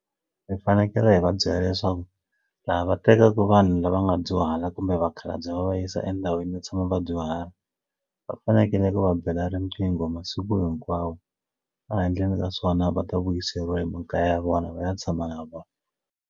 Hi fanekele hi va byela leswaku laha va tekaka vanhu lava nga dyuhala kumbe vakhalabye va va yisa endhawini yo tshama vadyuhari va fanekele va bela riqingho masiku hinkwawo a handleni ka swona va ta vuyiseriwa hi makaya ya vona va ya tshama na vona.